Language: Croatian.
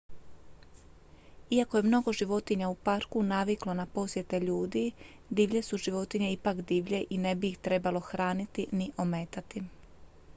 iako je mnogo životinja u parku naviklo na posjete ljudi divlje su životinje ipak divlje i ne bi ih trebalo hraniti ni ometati